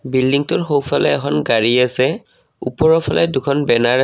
বিল্ডিংটোৰ সোঁফালে এখন গাড়ী আছে ওপৰৰ ফালে দুখন বেনাৰ আছে।